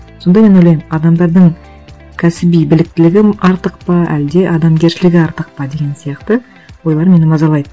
сонда мен ойлаймын адамдардың кәсіби біліктілігі артық па әлде адамгершілігі артық па деген сияқты ойлар мені мазалайды